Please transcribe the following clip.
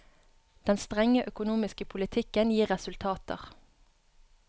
Den strenge økonomiske politikken gir resultater.